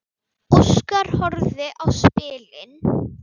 Óskar horfði á spilin.